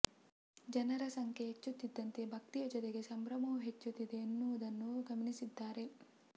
ಜನರ ಸಂಖ್ಯೆ ಹೆಚ್ಚುತ್ತಿದ್ದಂತೆ ಭಕ್ತಿಯ ಜೊತೆಗೆ ಸಂಭ್ರಮವೂ ಹೆಚ್ಚುತ್ತಿದೆ ಎನ್ನುವುದನ್ನೂ ಗಮನಿಸಿದ್ದಾರೆ